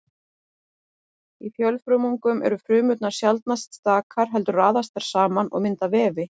Í fjölfrumungum eru frumurnar sjaldnast stakar heldur raðast þær saman og mynda vefi.